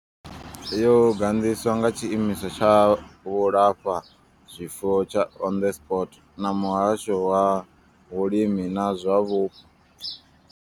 Yo gandiswa nga tshiimiswa tsha vhulafhazwifuwo tsha Onderstepoort na muhasho wa vhulimi na zwa vhupo.